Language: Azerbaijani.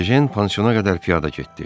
Ejen pansiona qədər piyada getdi.